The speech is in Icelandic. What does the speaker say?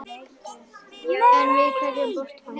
En við hverju bjóst hann?